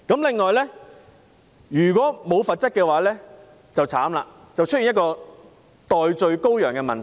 此外，如果沒有罰則便慘了，會出現代罪羔羊的問題。